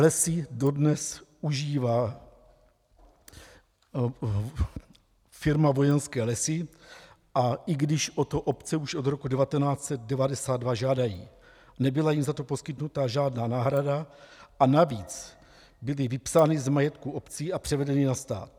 Lesy dodnes užívá firma Vojenské lesy, a i když o to obce už od roku 1992 žádají, nebyla jim za to poskytnuta žádná náhrada a navíc byly vypsány z majetku obcí a převedeny na stát.